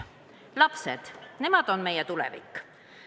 Lapsed on meie tulevik.